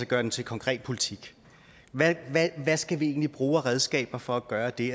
gør den til konkret politik hvad skal vi egentlig bruge af redskaber for at gøre det